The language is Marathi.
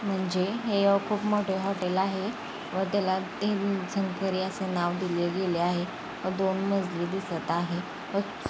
म्हणजे हे खूप मोठ हॉटेल आहे. व त्याला नाव असे दिले गेले आहे. व दोन मजली दिसत आहे. व--